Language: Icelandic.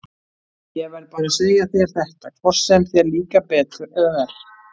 Ég verð bara að segja þér þetta, hvort sem þér líkar betur eða verr.